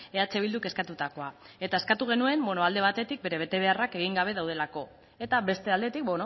eh bilduk eskatutakoa eta eskatu genuen alde batetik bere betebeharrak egin gabe daudelako eta beste aldetik